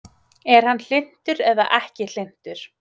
Er hann hlynntur eða ekki hlynntur?